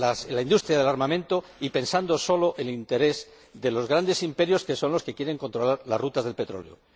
la industria del armamento, y pensando solo en el interés de los grandes imperios, que son los que quieren controlar las rutas del petróleo.